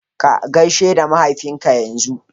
Ka gaishi da mahaifinka yanzu!